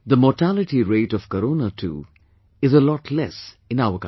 The mortality rate of corona too is a lot less in our country